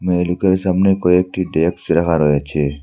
মেয়েলোকের সামনে কয়েকটি ডেক্স রাখা রয়েছে।